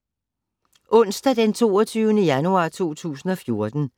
Onsdag d. 22. januar 2014